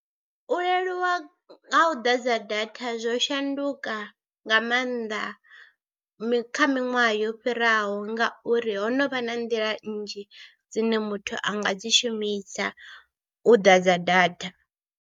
U leluwa ha u ḓadza data zwo shanduka nga maanḓa kha miṅwaha yo fhiraho ngauri ho no vha na nḓila nnzhi dzine muthu a nga dzi shumisa u ḓadza data.